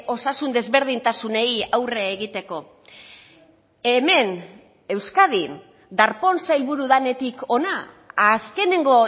osasun desberdintasunei aurre egiteko hemen euskadin darpón sailburu denetik hona azkenengo